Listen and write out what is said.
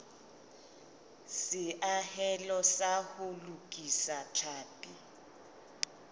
seahelo sa ho lokisa tlhapi